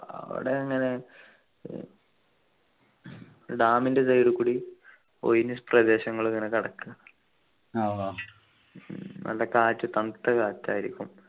അവിടെ അങ്ങനെ dam ൻ്റെ side കൂടി ഒഴിഞ്ഞ പ്രദേശങ്ങൾ ഇങ്ങനെ കിടക്കാ നല്ല കാറ്റ് തണുത്ത കാറ്റായിരിക്കും